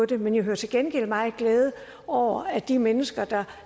det men jeg hører til gengæld at meget glæde over at de mennesker der